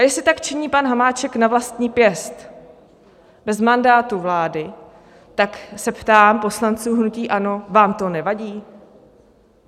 A jestli tak činí pan Hamáček na vlastní pěst, bez mandátu vlády, tak se ptám poslanců hnutí ANO: Vám to nevadí?